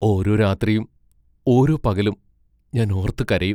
ഓരോ രാത്രിയും ഓരോ പകലും ഞാൻ ഓർത്ത് കരയും.